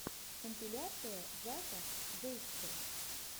компиляция зака зэйкэ